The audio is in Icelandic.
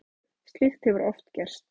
Slíkt hefur oft gerst.